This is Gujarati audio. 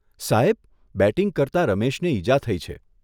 સાહેબ, બેટિંગ કરતા રમેશને ઈજા થઇ છે.